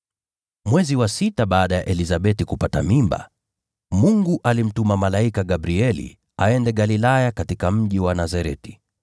Mwezi wa sita baada ya Elizabeti kupata mimba, Mungu alimtuma malaika Gabrieli aende Galilaya katika mji wa Nazareti,